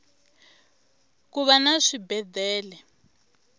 kuva na swibedele